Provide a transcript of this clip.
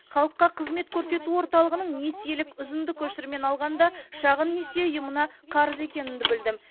халыққа қызмет көрсету орталығының несиелік үзінді көшірмені алғанда шағын несие ұйымына қарыз екенімді білдім